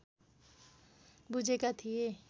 बुझेका थिए